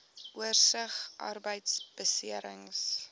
oorsig arbeidbeserings